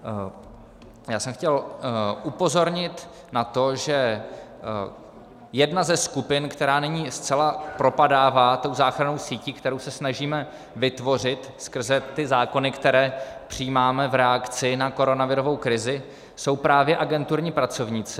Já jsem chtěl upozornit na to, že jedna ze skupin, která nyní zcela propadává tou záchrannou sítí, kterou se snažíme vytvořit skrze ty zákony, které přijímáme v reakci na koronavirovou krizi, jsou právě agenturní pracovníci.